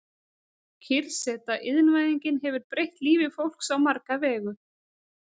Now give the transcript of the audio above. Kyrrseta Iðnvæðingin hefur breytt lífi fólks á marga vegu.